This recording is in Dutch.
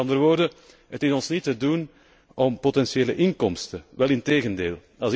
Met andere woorden, het is ons niet te doen om potentiële inkomsten, integendeel.